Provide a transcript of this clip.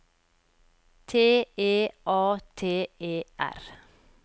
T E A T E R